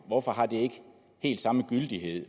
hvorfor har det ikke samme gyldighed